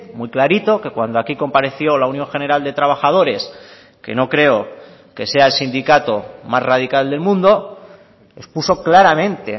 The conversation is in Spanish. muy clarito que cuando aquí compareció la unión general de trabajadores que no creo que sea el sindicato más radical del mundo expuso claramente